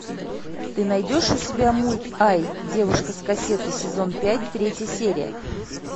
ты найдешь у себя мульт ай девушка с кассеты сезон пять третья серия